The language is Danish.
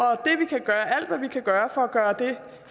alt hvad vi kan gøre for at gøre det